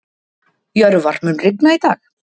Jörvar, mun rigna í dag?